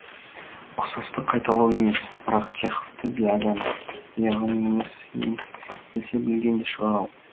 ұқсастық қайталау емес бірақ чеховты биағаң еміс еміс білсе білген де шығар ау